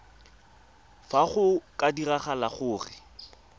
fa go ka diragala gore